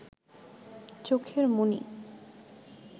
চোখের মণি